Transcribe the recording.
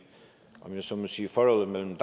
om jeg så må sige forholdet mellem